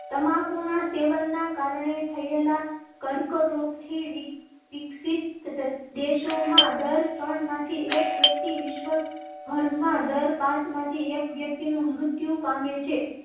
તમાકુ ના સેવનના કારણે થયેલાં કર્કરોગ થી વિકસિત. દેશો માં દર ત્રણ માંથી એક વ્યક્તિ વિશ્વ ભરમાં દર પાંચમાંથી એક વ્યક્તિ નું મૃત્યુ પામે છે.